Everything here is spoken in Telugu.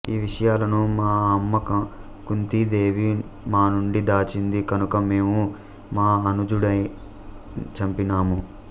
ఈ విషయాలను మా అమ్మ కుంతీదేవి మా నుండి దాచింది కనుక మేము మా అనుజుడినే చంపినాము